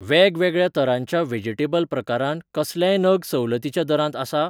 वेगवेगळ्या तरांच्या व्हेजिटेबल प्रकारांत कसलेय नग सवलतीच्या दरांत आसा?